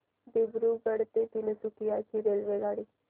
दिब्रुगढ ते तिनसुकिया ची रेल्वेगाडी